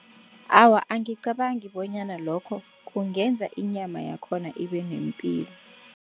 Awa, angicabangi bonyana lokho kungenza inyama yakhona ibe nepil.